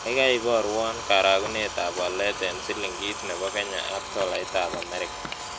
Gagai iborwon karagunetap walet eng' silingit ne po kenya ak tolaitap amerika